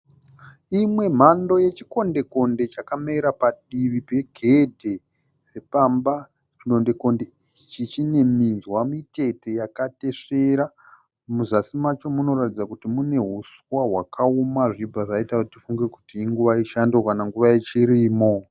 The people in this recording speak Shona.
Imwe mhando yeChikonde konde chakamera padivi pegedhe repamba. Chikonde konde ichi chine minzwa mitete yakatesvera, muzasi macho munoratidza kuti mune huswa hwakaoma zvichibva zvaita kuti tifunge kuti inguva yechando kana nguva yechirimo.